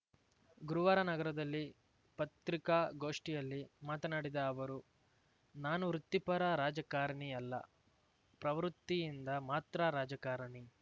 ಗುರುವಾರ ನಗರದಲ್ಲಿ ಪತ್ರಿಕಾಗೋಷ್ಠಿಯಲ್ಲಿ ಮಾತನಾಡಿದ ಅವರು ನಾನು ವೃತ್ತಿಪರ ರಾಜಕಾರಣಿಯಲ್ಲ ಪ್ರವೃತ್ತಿಯಿಂದ ಮಾತ್ರ ರಾಜಕಾರಣಿ